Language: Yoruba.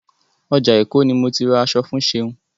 Ọjà Èkó ni mo ti ra aṣọ fún Ṣeun.